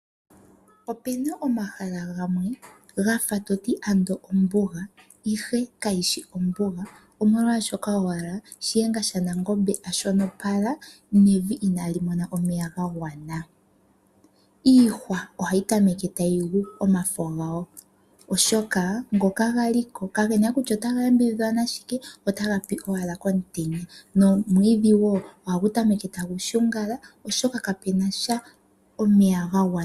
Opu na omahala gamwe gafa ombuga, ihe kageshi ombuga omolwashoka owala Shiyenga shaNangombe a shonopala nevi inaali mona omeya ga gwana. Iihwa ohayi tameke tayi gu omafo gawo, oshoka ngoka gali ko kage na we kutya ota ga yambidhidhwa nashike ,otaga pi owala komutenya. Omwiidhi woo ohagu tameke tagu shungala oshoka ka pu nasha omeya ga gwana.